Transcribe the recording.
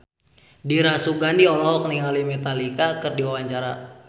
Dira Sugandi olohok ningali Metallica keur diwawancara